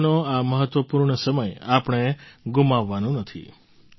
ચોમાસાનો આ મહત્ત્વપૂર્ણ સમય આપણે ગુમાવવાનો નથી